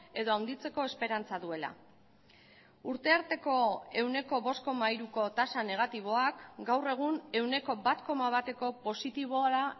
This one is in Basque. edo handitzeko esperantza duela urte arteko ehuneko bost koma hiruko tasa negatiboak gaur egun ehuneko bat koma bateko positibora